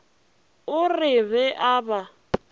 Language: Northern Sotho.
re o be a ba